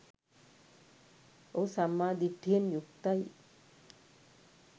ඔහු සම්මා දිට්ඨියෙන් යුක්තයි